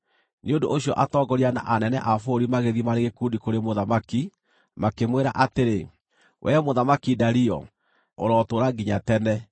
Nĩ ũndũ ũcio atongoria na anene a bũrũri magĩthiĩ marĩ gĩkundi kũrĩ mũthamaki, makĩmwĩra atĩrĩ: “Wee Mũthamaki Dario, ũrotũũra nginya tene!